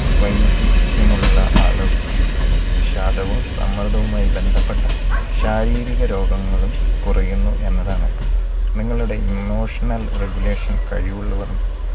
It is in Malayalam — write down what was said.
വൈദിക്ത്യമുള്ള ആളുകൾക്ക് വിഷാദവും സമ്മതവുമായി ബന്ധപ്പെട്ട ശാരീരിക രോഗങ്ങളും കുറയുന്നു എന്നതാണ്. നിങ്ങളുടെ emotional regulation കഴിവുള്ളവരും